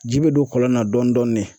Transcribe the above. Ji bɛ don kɔlɔn na dɔɔnin-dɔɔnin